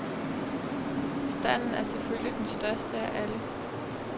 Standen er selvfølgelig den største af alle.